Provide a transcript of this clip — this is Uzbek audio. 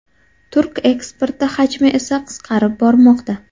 Turk eksporti hajmi esa qisqarib bormoqda.